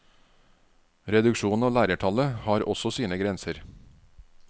Reduksjonen av lærertallet har også sine grenser.